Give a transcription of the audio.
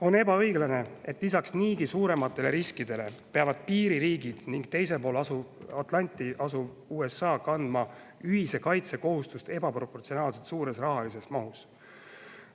On ebaõiglane, et lisaks niigi suurematele riskidele peavad piiririigid ning teisel pool Atlandit asuv USA kandma ühise kaitse kohustust ebaproportsionaalselt suures rahalises mahus.